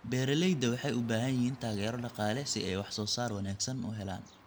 Beeralayda waxay u baahan yihiin taageero dhaqaale si ay wax soo saar wanaagsan u helaan.